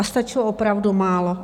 A stačilo opravdu málo.